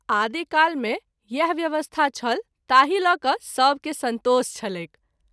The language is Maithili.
आदि काल मे इएह व्यवस्था छल ताहि ल’क’ सभ के संतोष छलैक।